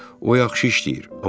O yaxşı işləyir,